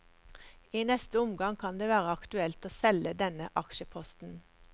I neste omgang kan det være aktuelt å selge denne aksjeposten.